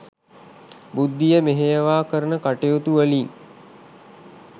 බුද්ධිය මෙහෙයවා කරන කටයුතුවලින්